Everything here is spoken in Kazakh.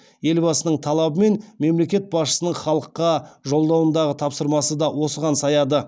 елбасының талабы мен мемлекет басшысының халыққа жолдауындағы тапсырмасы да осыған саяды